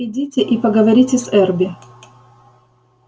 идите и поговорите с эрби